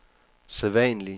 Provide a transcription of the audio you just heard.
sædvanlige